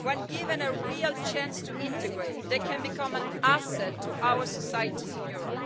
When given a real chance to integrate, they can become an asset to our societies in Europe,